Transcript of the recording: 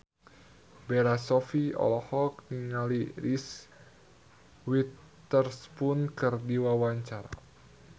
Bella Shofie olohok ningali Reese Witherspoon keur diwawancara